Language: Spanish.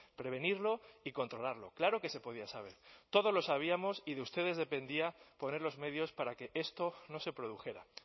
prevenirlo y controlarlo claro que se podía saber todos lo sabíamos y de ustedes dependía poner los medios para que esto no se produjera